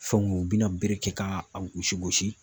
Fɛnw u bina bere kɛ k'a a gosi gosi